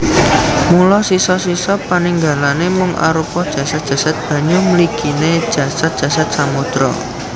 Mula sisa sisa paninggalané mung arupa jasad jasad banyu mliginé jasad jasad samodra